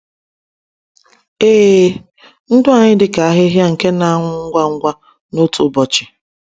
Ee, ndụ anyị dịka ahịhịa nke na-anwụ ngwa ngwa n’otu ụbọchị.